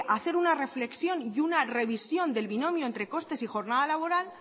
hacer una reflexión y una revisión del binomio entre costes y jornada laboral